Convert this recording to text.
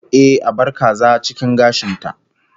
Ehh, a bar kaza cikin gashin ta